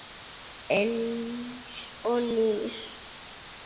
Eins og nýr.